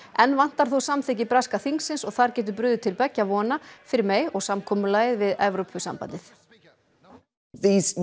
enn vantar þó samþykki breska þingsins og þar getur brugðið til beggja vona fyrir May og samkomulagið við Evrópusambandið